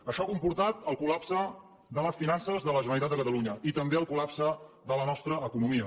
això ha comportat el col·de la generalitat de catalunya i també el col·lapse de la nostra economia